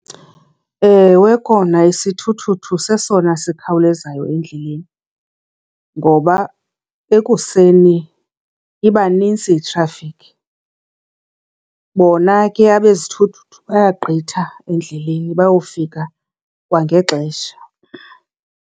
Ewe kona isithuthuthu sesona sikhawulezayo endleleni. Ngoba ekuseni iba nintsi itrafikhi, bona ke abezithuthi bayagqitha endleleni bayofika kwangexesha.